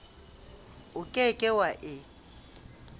o ke ke wa e